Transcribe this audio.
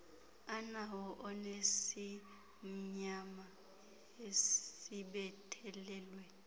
anawo onesimnyama esibethelelwe